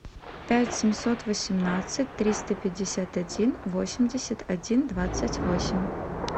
пять семьсот восемнадцать триста пятьдесят один восемьдесят один двадцать восемь